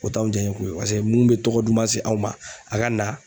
O t'anw jaaɲɛko ye paseke mun bɛ tɔgɔ duma se anw ma a ka na